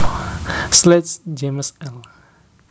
Sledge James L